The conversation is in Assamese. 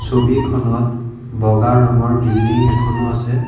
ছবিখনত বগা ৰঙৰ বিল্ল্ডিং এটাও আছে।